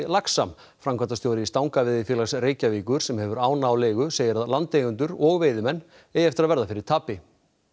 laxa framkvæmdastjóri Stangaveiðifélags Reykjavíkur sem hefur ána á leigu segir að landeigendur og veiðimenn eigi eftir að verða fyrir tapi